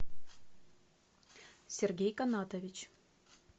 сергей канатович